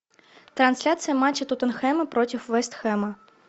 трансляция матча тоттенхэма против вест хэма